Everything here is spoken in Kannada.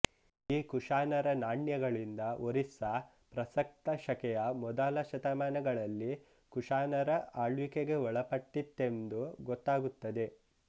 ಈ ಕುಶಾನರ ನಾಣ್ಯಗಳಿಂದ ಒರಿಸ್ಸ ಪ್ರಸಕ್ತಶಕೆಯ ಮೊದಲ ಶತಮಾನಗಳಲ್ಲಿ ಕುಶಾನರ ಆಳ್ವಿಕೆಗೆ ಒಳಪಟ್ಟಿದ್ದಿತೆಂದು ಗೊತ್ತಾಗುತ್ತದೆ